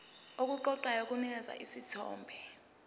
okuqoqayo kunikeza isithombe